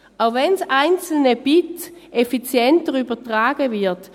Auch wenn das einzelne Bit effizienter übertragen wird: